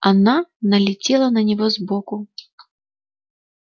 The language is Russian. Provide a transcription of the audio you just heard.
она налетела на него сбоку